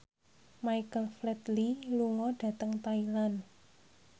Michael Flatley lunga dhateng Thailand